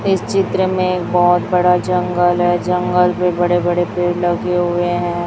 इस चित्र में एक बहुत बड़ा जंगल है जंगल में बड़े बड़े पेड़ लगे हुए हैं।